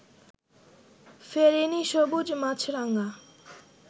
ফেরেনি সবুজ মাছরাঙা